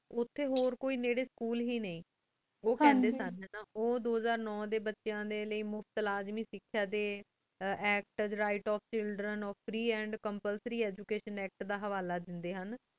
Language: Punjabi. ਉਠੀ ਹੋਰ ਕੋਈ ਨਾਰੀ school ਹੀ ਨੀ ਉਖੰਡੀ ਸਨ ਉਓ ਦੋਹ੍ਜ਼ਰ ਨੂੰ ਡੀ ਬਚੇਯਾਂ ਲੈ ਮੁਫਤ ਇਲਾਜ ਸਿਸਕੀਆ ਡੀ act act right of children of free and complesory education act ਹਵਾਲਾ ਦੇਂਦੀ